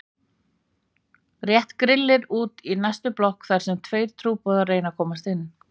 Rétt grillir út í næstu blokk þar sem tveir trúboðar reyna að komast inn.